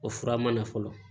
O fura mana fɔlɔ